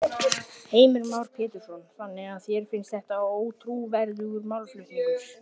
Heimir Már Pétursson: Þannig að þér finnst þetta ótrúverðugur málflutningur?